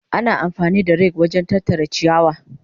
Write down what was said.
Ana amfani da rake wajen tattara ciyawa.